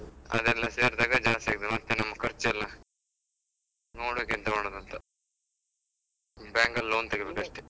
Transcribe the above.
ಅದೆಲ್ಲ ಸೇರ್ದಾಗ ಜಾಸ್ತಿ ಆಗ್ತದೆ ಮತ್ತೆ ನಮ್ ಖರ್ಚ್ ಎಲ್ಲ, ನೋಡ್ಬೇಕ್ ಎಂತ ಮಾಡುದಂತ bank ಅಲ್ಲ್ loan ತೆಗಿಬೇಕಷ್ಟೆ.